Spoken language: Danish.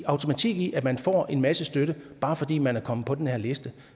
automatik i at man får en masse støtte bare fordi man er kommet på den her liste